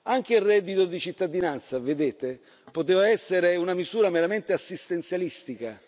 Anche il reddito di cittadinanza, vedete, poteva essere una misura meramente assistenzialistica.